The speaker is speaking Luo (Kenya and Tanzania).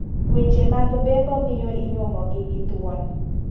Weche mag bembo miyo inyuomo gi gi thuon.